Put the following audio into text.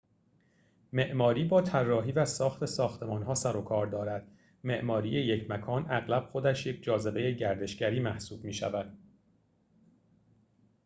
معماری با طراحی و ساخت ساختمان‌ها سر و کار دارد معماری یک مکان اغلب خودش یک جاذبه گردشگری محسوب می‌شود